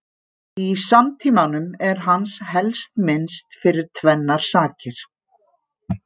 Í samtímanum er hans helst minnst fyrir tvennar sakir.